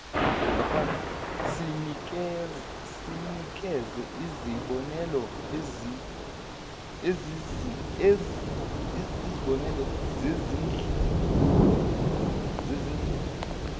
sinikeze izibonelo zezindlela